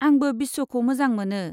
आंबो बिस्वखौ मोजां मोनो।